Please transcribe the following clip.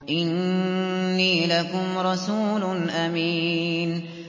إِنِّي لَكُمْ رَسُولٌ أَمِينٌ